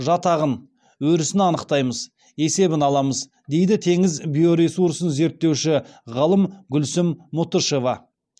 жатағын өрісін анықтаймыз есебін аламыз дейді теңіз биоресурсын зерттеуші ғалым гүлсім мұтышева